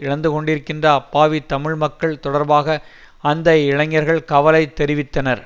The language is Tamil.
இழந்துகொண்டிருக்கின்ற அப்பாவி தமிழ் மக்கள் தொடர்பாக அந்த இளைஞர்கள் கவலை தெரிவித்தனர்